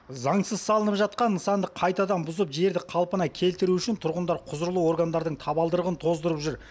заңсыз салынып жатқан нысанды қайтадан бұзып жерді қалпына келтіру үшін тұрғындар құзырлы органдардың табалдырығын тоздырып жүр